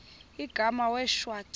igama wee shwaca